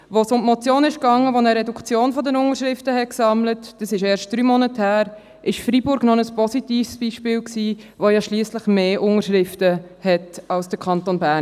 Als es um die Motion ging, die eine Reduktion der Unterschriftenzahl forderte – dies ist erst drei Monate her – war Freiburg noch ein positives Beispiel, da man im Vergleich zur Bevölkerungszahl mehr Unterschriften brauchte als im Kanton Bern.